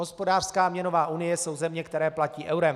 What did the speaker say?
Hospodářská a měnová unie jsou země, které platí eurem.